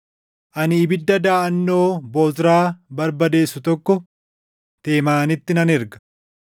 ani ibidda daʼannoo Bozraa barbadeessu tokko Teemaanitti nan erga.”